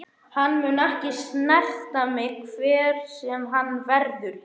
Hann mun ekki snerta mig hver sem hann verður.